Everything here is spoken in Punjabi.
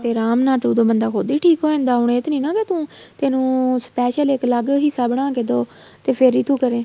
ਤੇ ਆਰਾਮ ਨਾਲ ਉਦੋ ਬੰਦਾ ਠੀਕ ਹੋ ਜਾਂਦਾ ਹੁਣ ਏ ਤੇ ਨਹੀਂ ਤੂੰ ਤੈਨੂੰ special ਇੱਕ ਅਲੱਗ ਹਿੱਸਾ ਬਣਾਕੇ ਦਓ ਤੇ ਫ਼ੇਰ ਹੀ ਤੂੰ ਕਰੇ